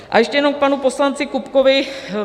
A ještě jenom k panu poslanci Kupkovi.